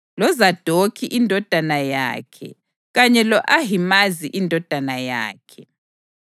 loZadokhi indodana yakhe kanye lo-Ahimazi indodana yakhe.